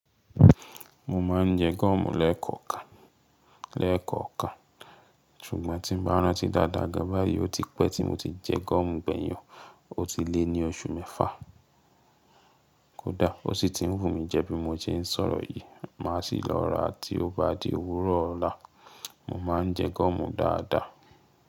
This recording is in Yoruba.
Mo ma n je gúọ́mù lẹ́ẹ̀kọ̀ọ́ kan, lẹ́ẹ̀kọ̀ọ́ kan, ṣùgbọ́n tí n bá rántí dáadáa gẹ́gẹ́ báyìí ó ti pẹ́ tí mo ti jẹ gúọ́mù gbẹ̀yìn ọ, ó ti lé ní oṣù mẹ́fà. Kódà ó sì ti n wù mí jẹ bí mo ṣe n sọ̀rọ̀ yìí, màá sì lọ́ra tí ó bá di òwúrọ̀ ọ̀la. Mo ma n jẹ gúọ́mù dáadáa.